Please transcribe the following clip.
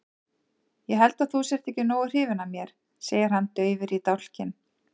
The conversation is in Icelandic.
Ég held að þú sért ekki nógu hrifin af mér, segir hann daufur í dálkinn.